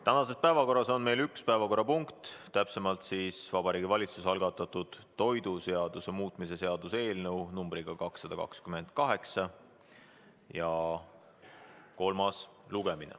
Tänases päevakorras on meil üks päevakorrapunkt, Vabariigi Valitsuse algatatud toiduseaduse muutmise seaduse eelnõu 228 kolmas lugemine.